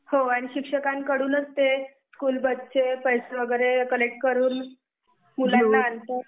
आणि शिक्षणाकडूनच ते स्कुलबस चे पैसे वैगेरे कलेक्ट करूँ मुलांना आणतात